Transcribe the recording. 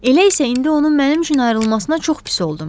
Elə isə indi onun mənim üçün ayrılmasına çox pis oldum.